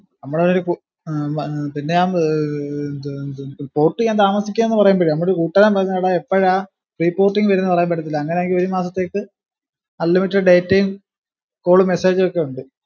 നമ്മടെ ഏർ ഉം പിന്നെ ഞാൻ ഏർ ഏർ ന്ത് ന്ത് port ചെയ്യാൻ താമസിക്കാ പറയുമ്പോഴേ നമ്മടെ ഒരു കൂട്ടുകാരൻ പറഞ്ഞു എടാ എപ്പോഴാ free porting വരുന്നെന്ന് പറയാൻ പറ്റത്തില്ല അങ്ങനെയാങ്കി ഏഴ് മാസത്തേക്ക് unlimited data യും call ഉം message ക്കെ ഉണ്ട്